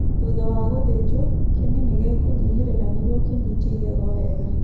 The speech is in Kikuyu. Thutha wa gũthĩnjwo, kĩni nĩ gĩkũnyihĩrĩra nĩguo kĩnyitie igego wega.